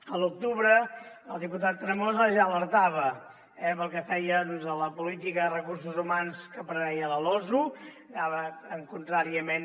a l’octubre el diputat tremosa ja alertava pel que feia a la política de recursos humans que preveia la losu contràriament